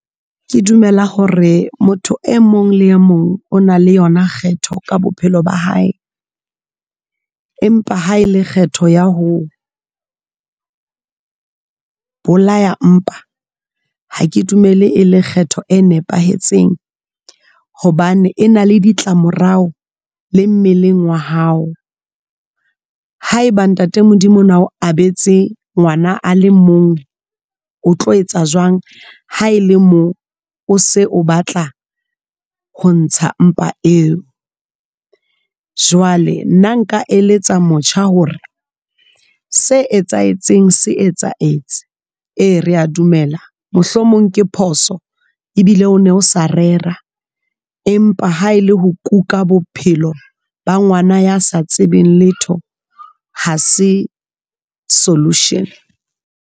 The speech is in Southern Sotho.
Ke dumela hore motho e mong le e mong o na le yona kgetho ka bophelo ba hae, empa ha e le kgetho ya ho bolaya mpa ha ke dumele e lekgetho e nepahetseng hobane e na le ditlamorao le mmeleng wa hao. Ha eba Ntate Modimo ona o abetse ngwana a le mong, o tlo etsa jwang ha ele moo o se o batla ho ntsha mpa eo, jwale nna nka eletsa motjha hore se etsahetseng se etsaetse. E rea dumela mohlomong ke phoso ebile o ne o sa rera. Empa ha ele ho kuka bophelo ba ngwana ya sa tsebeng letho ha se solution.